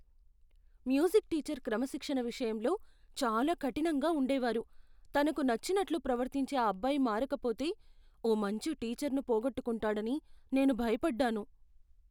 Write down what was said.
Music teacher క్రమశిక్షణ విషయంలో చాలా కఠినంగా ఉండేవారు. తనకు నచ్చినట్లు ప్రవర్తించే ఆ అబ్బాయి మారకపోతే ఓ మంచి టీచర్ను పోగొట్టుకుంటాడని నేను భయపడ్డాను.